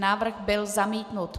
Návrh byl zamítnut.